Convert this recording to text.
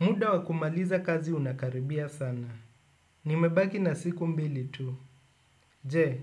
Muda wa kumaliza kazi unakaribia sana. Nimebaki na siku mbili tu. Je,